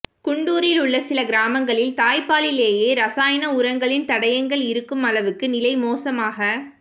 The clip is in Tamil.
குண்டூரில் உள்ள சில கிராமங்களில் தாய்ப்பாலிலேயே ரசாயன உரங்களின் தடயங்கள் இருக்கும் அளவுக்கு நிலை மோசமாக